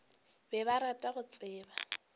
be ba rata go tseba